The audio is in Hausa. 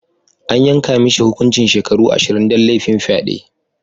An yanka mishi hukuncin shekaru ashirin dan lafin fyade.